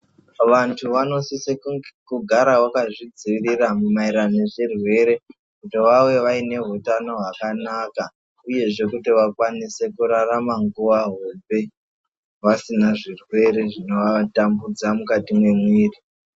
Vantu vanosise kugara vakazvidzivirere maererano nezvirwere kuti vave e neutano hwakanaka uyezve kuti vakwanise kurarama nguva hombe vasina zvino vatambudza mukati memuviri.